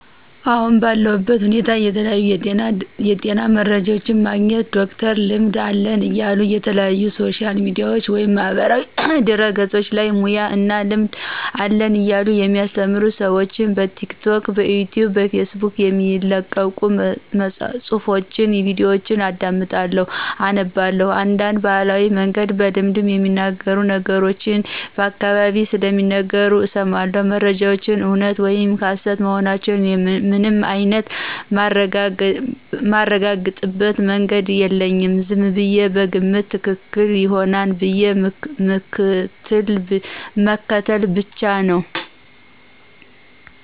አሁን ባለው ሁኔታ የተለያዩ የጤና መረጃዎችን የማገኝው ዶክተርነን ልምድ አለን እያሉ የተለያዩ ሶሻል ሚዲያ ወይም ማህበራዊ ድህረገፆች ላይ ሙያ እና ልምድ አለን እያሉ የሚያስተምሩ ስዎችን በቲክቶክ፣ ብኢትዩብ፣ በፌስቡክ የሚለቀቁ ፁሑፎች፣ ቪዲዮችን አዳምጣለሁ አነባላሁ፣ እንዳንድ በባህላዊ መንገድ በልምድ የሚነገሩ ነገሮችን በአካባቢየ ሲናገሩ እስማለሁ። መረጃዎች እውነት ወይም ሀሰት መሆናቸውን ምንም አይንት ማረጋግጥበት መንገድ የለኝም ዝምብየ በግምት ትክክል ይሆናል ብዬ ምክትል ብቻ ነው።